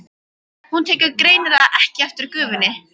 Hún tekur greinilega ekki eftir gufunni.